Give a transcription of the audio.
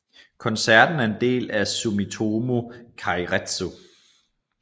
Koncernen er en del af Sumitomo keiretsu